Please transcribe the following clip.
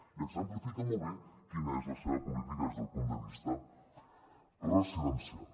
i exemplifica molt bé quina és la seva política des del punt de vista residencial